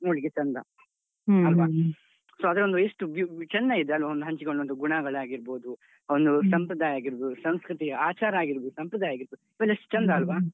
ಒಂದ್ ನೋಡ್ಲಿಕ್ಕೆ ಚಂದ, ಅಲ್ವ? ಅದ್ರಲ್ಲೂ ಎಷ್ಟು ವ್ಯು ವು ಚೆಂದ ಇದೆ ಅಲ್ವ ಒಂದ್ ಹಂಚಿಕೊಳ್ಳುವಂತಹ ಗುಣಗಳಾಗಿರ್ಬೋದು, ಒಂದು ಸಂಪ್ರದಾಯ ಆಗಿರ್ಬೋದು , ಸಂಸ್ಕೃತಿ, ಆಚಾರ ಆಗಿರ್ಬೋದು, ಸಂಪ್ರದಾಯ ಆಗಿರ್ಬೋದು ಇವೆಲ್ಲ ಎಷ್ಟು ಚೆಂದ ಅಲ್ವ?